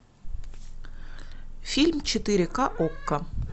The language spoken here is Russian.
фильм четыре ка окко